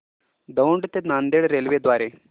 दौंड ते नांदेड रेल्वे द्वारे